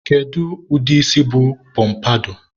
kedukwanu ụdị isi bụ pọmpadọ?